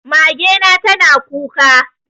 Mage na tana kuka.